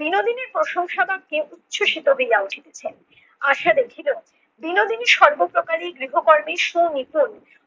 বিনোদিনীর প্রশংসা বাক্যে উচ্ছসিত হইয়া উঠিতাছেন। আশা দেখিলো বিনোদিনী সর্বপ্রকারই গৃহকর্মে সুনিপুণ